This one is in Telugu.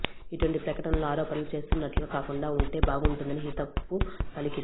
ఇటువంటి ప్రకటనలు ఆరోపణలు చేస్తున్నట్లుగా కాకుండా వుంటే బాగుంటుందని హితవు పలికింది